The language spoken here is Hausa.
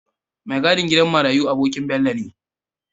Me gadin gidan marayi abonkin Bello ne